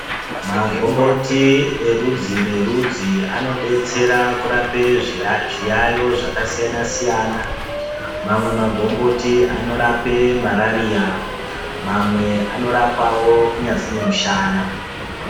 Magomboti erudzi nerudzi inodetsera kurapa zviyayiyo zvakasiyana siyana mamwe magomboti anorape marariya mamwe anorapawo kunyazi nemusana.